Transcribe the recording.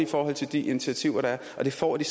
forhold til de initiativer der er og det får de